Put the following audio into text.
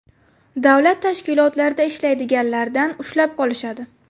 Davlat tashkilotlarida ishlaydiganlardan ushlab qolishadi.